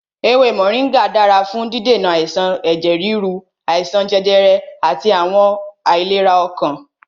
Ewé Mọ̀ríngà dára fún dídènà àìsàn ẹ̀jẹ̀ ríru, àìsàn jẹjẹrẹ àti àwọn àìlera ọkàn.